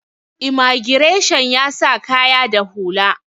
imagireshan ya sa kaya da hula